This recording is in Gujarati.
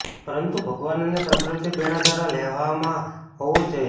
પરંતુ ભગવાન અને પ્રકૃતિ પ્રેરણા દ્વારા લેવામાં હોવું જ જોઈએ